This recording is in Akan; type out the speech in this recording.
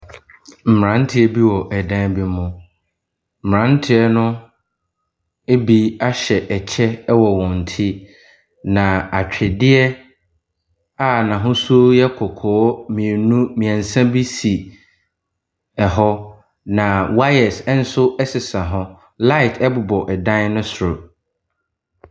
Mmeranteɛ bi wɔ dan bi mu. Mmeranteɛ no bi ahyɛ ɛkyɛ wɔ wɔn ti, na atweredeɛ a n'ahosuo yɛ kɔkɔɔ mmienu mmeɛnsa bi si hɔ, na wire nso sesa hɔ. Light bobɔ dan no soro.